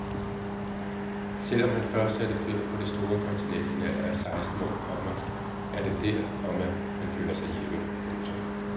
Selv om han først satte fødder på det store kontinent i en alder af seksten år, komma er det der, komma han føler sig hjemme. punktum